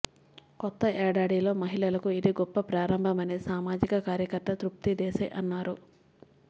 కొత్త ఏడాదిలో మహిళలకు ఇది గొప్ప ప్రారంభమని సామాజిక కార్యకర్త తృప్తి దేశాయ్ అన్నారు